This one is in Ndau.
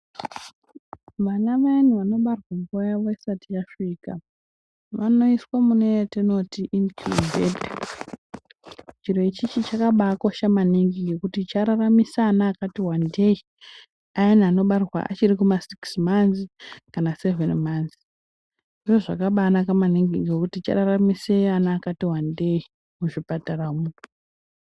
Vana vayani vanobarwa nguwa yavo isati yasvika vanoiswe mune yatinoti inikhubheta. Chirocho chakabaakosha maningi ngekuti chararamisa vana vakati wandei. Vaya vanobarwa vachiri kumasikisi manzi kana sevheni manzi. Zviro zvakabaanaka maningi ngekuti chararamisa vana vakati wandei muzvipataramwo.